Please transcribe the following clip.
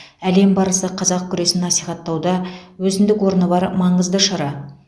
әлем барысы қазақ күресін насихаттауда өзіндік орны бар маңызды шара